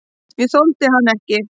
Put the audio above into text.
Ég þoldi hann ekki.